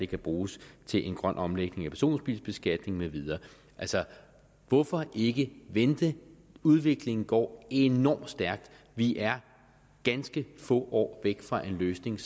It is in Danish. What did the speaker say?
kan bruges til en grøn omlægning af personbilbeskatning med videre altså hvorfor ikke vente udviklingen går enormt stærkt og vi er ganske få år fra en løsning